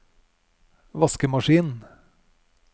vaskemaskin